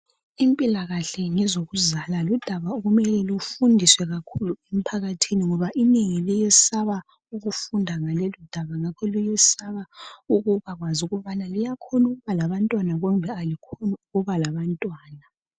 Impilakahle ngezokuzala ludaba okumele lufundiswe kakhulu emphakathini ngoba inengi liyesaba ukufunda ngalolu daba . Ngakho ukubakwazi ukubana luyakhona ukuba labantwana kumbeni alikhoni ukuba labantwana .